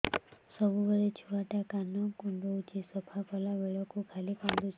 ସବୁବେଳେ ଛୁଆ ଟା କାନ କୁଣ୍ଡଉଚି ସଫା କଲା ବେଳକୁ ଖାଲି କାନ୍ଦୁଚି